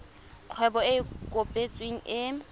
kgwebo e e kopetsweng e